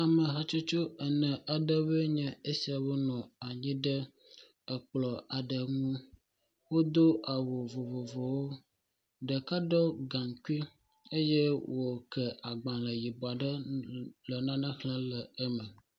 Ame hatsotso ene aɖewoe enye esia, wonɔ anyi ɖe ekplɔ aɖe ŋu. Wodo awu vovovowo, ɖeka ɖɔ gaŋkui eye woke agbalẽ yibɔ aɖe le nane xlẽm le eme .